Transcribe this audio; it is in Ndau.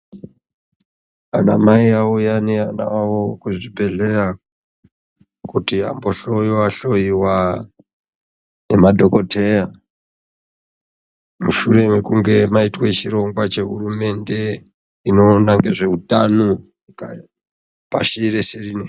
Anamai auya neana avo kuzvibhedhleya kuti ambo hloiwa hloiwa ngema dhokoteya mushure mekunge maitwe chirongwa chehurumende inoona nezveutano pashi reshe rineri.